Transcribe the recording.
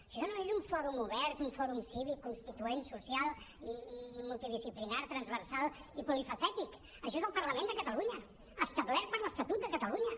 això no és un fòrum obert un fòrum cívic constituent social i multidisciplinari transversal i polifacètic això és el parlament de catalunya establert per l’estatut de catalunya